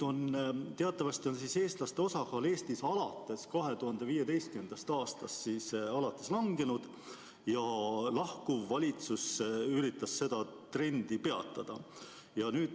Teatavasti on eestlaste osakaal Eestis alates 2015. aastast langenud ja lahkuv valitsus üritas seda trendi peatada.